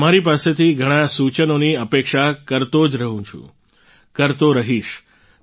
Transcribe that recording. તમારી પાસેથી ઘણાં સૂચનોની અપેક્ષા કરતો જ રહુ છું કરતો રહીશ